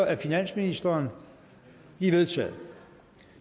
af finansministeren de er vedtaget